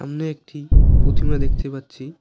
সামনে একটি প্রতিমা দেখতে পাচ্ছি।